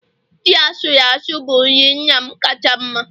Ji asuru asụ bụ nri nna m kacha mma